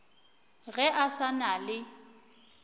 ge a sa na le